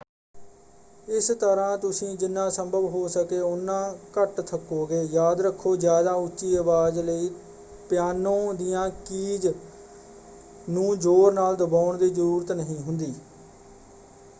ਇਸ ਤਰ੍ਹਾਂ ਤੁਸੀਂ ਜਿਨ੍ਹਾਂ ਸੰਭਵ ਹੋ ਸਕੇ ਉਨ੍ਹਾਂ ਘੱਟ ਥੱਕੋਗੇ। ਯਾਦ ਰੱਖੋ ਜ਼ਿਆਦਾ ਉੱਚੀ ਅਵਾਜ਼ ਲਈ ਪਿਆਨੋ ਦੀਆਂ ਕੀਜ਼ ਨੂੰ ਜ਼ੋਰ ਨਾਲ ਦਬਾਉਣ ਦੀ ਜ਼ਰੂਰਤ ਨਹੀਂ ਹੁੰਦੀ।